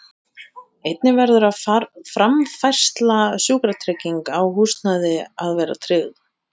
Einnig verður framfærsla, sjúkratrygging og húsnæði að vera tryggð.